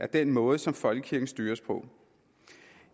den måde som folkekirken styres på